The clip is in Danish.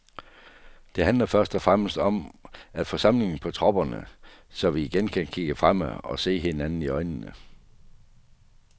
Det handler først og fremmest om at få samling på tropperne, så vi igen kan kigge fremad og se hinanden i øjnene.